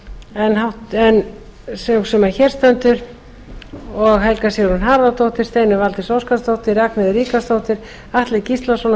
en sú sem hér stendur og helga sigrún harðardóttir steinunn valdís óskarsdóttir ragnheiður ríkharðsdóttir atli gíslason og